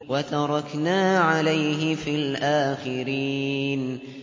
وَتَرَكْنَا عَلَيْهِ فِي الْآخِرِينَ